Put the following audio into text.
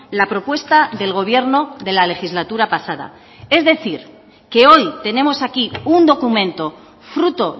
la propuesta del gobierno de la legislatura pasada es decir que hoy tenemos aquí un documento fruto